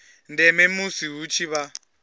ndeme musi hu tshi vha